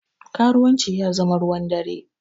Karuwanci ya zama ruwan dare